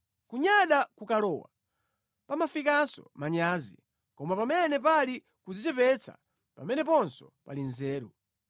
Kunyada kukalowa, pamafikanso manyazi, koma pamene pali kudzichepetsa pameneponso pali nzeru.